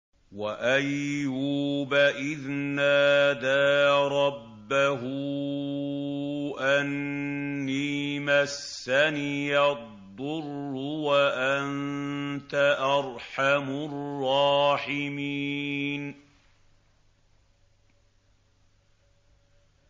۞ وَأَيُّوبَ إِذْ نَادَىٰ رَبَّهُ أَنِّي مَسَّنِيَ الضُّرُّ وَأَنتَ أَرْحَمُ الرَّاحِمِينَ